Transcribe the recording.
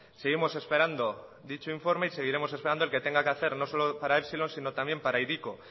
seguimos esperando dicho informe y seguiremos esperando el que tenga que hacer no solo para epsilon sino también para hiriko